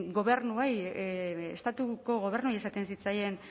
gobernuei estatuko gobernuei esaten zitzaien